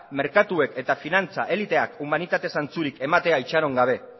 merkatuek eta finantza eliteak humanitate zentzurik ematea itxaron gabe